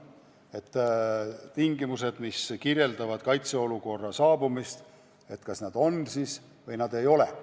Teatud tunnused viitavad kaitseolukorra tekkele ja need kas on või ei ole.